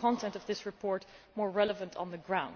content of this report more relevant on the ground.